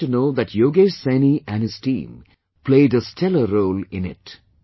I came to know that Yogesh Saini & his team played a stellar role in it